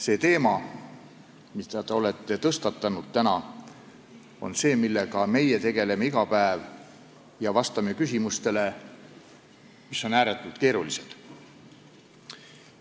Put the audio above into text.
Selle teemaga, mille te olete täna tõstatanud, tegeleme meie iga päev ja vastame küsimustele, mis on ääretult keerulised.